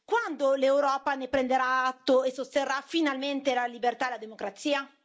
quando l'Europa ne prenderà atto e sosterrà finalmente la libertà e la democrazia?